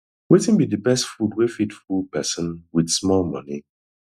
wetin be the best food wey fit full person wit small money